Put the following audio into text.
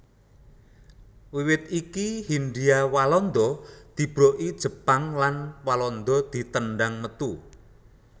Wiwit iku Hindia Walanda dibroki Jepang lan Walanda ditendhang metu